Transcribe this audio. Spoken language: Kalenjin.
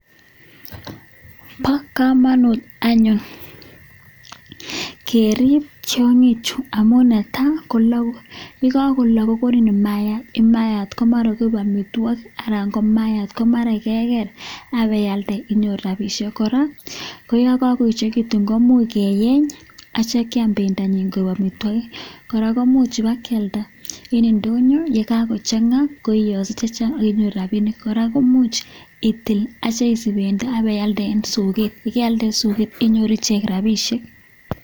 Bo komonut anyun kerib tiong'ichu amun netai: kologu, ye kagolok kogonin maayat. Imaayat komara koik amitwogik anan ko maayat ko mara kebas ak ibeialde koik rabishek. Kora ko yon kagoechegitun koimuch keyeny ak kityo kyam bendonyin koik amitwogik. Kora koimuch ibakyalda en ndonyo ye kago chang'a koiyoso chechang ak inyoru rabinik. Kora koimuch itil ak itya isich bendo ak ibeialde en soget ye kaialde en soget inyoru ichek rabinik.